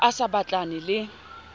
ha a sa batlane le